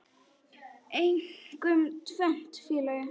Einkum tvennt, félagi.